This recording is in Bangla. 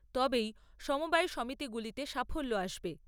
তবেই সমবায় সমিতিগুলিতে সাফল্য আসবে।